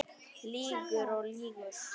Lýgur og lýgur.